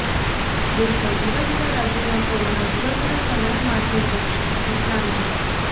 દેશના જુદા જુદા રાજ્યોમાં કોરોના જુદા જુદા સમયે માથુ ઉંચકશેઃ નિષ્ણાંતો